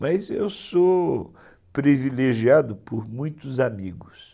Mas eu sou privilegiado por muitos amigos.